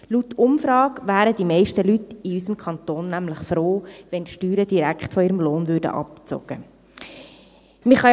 Laut Umfragen wären die meisten Leute in unserem Kanton nämlich froh, wenn die Steuern direkt von ihrem Lohn abgezogen würden.